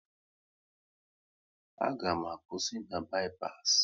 A ga m akwụsị na bi-pas